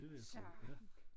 Det vil jeg tro ja